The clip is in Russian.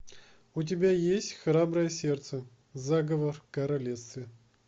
у тебя есть храброе сердце заговор в королевстве